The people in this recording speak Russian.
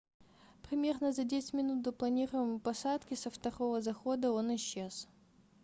примерно за 10 минут до планируемой посадки со второго захода он исчез